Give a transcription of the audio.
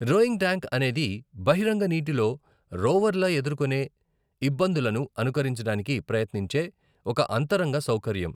Rowing tank అనేది బహిరంగ నీటిలో రోవర్ల ఎదుర్కొనే ఇబ్బందులను అనుకరించడానికి ప్రయత్నించే ఒక అంతరింగ సౌకర్యం.